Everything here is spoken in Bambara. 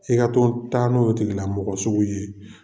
E ka to taa n'o ye tigila mɔgɔ sugu ye